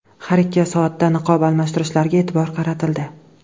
Har ikki soatda niqob almashtirishlariga e’tibor qaratildi.